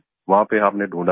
वहाँ पे आपने ढूंढा हमें